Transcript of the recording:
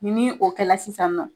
Ni nii o kɛla sisan nɔ